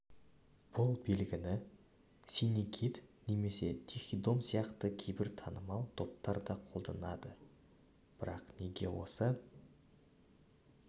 бұл белгіні синий кит немесе тихий дом сияқты кейбір танымал топтар да қолданады бірақ неге осы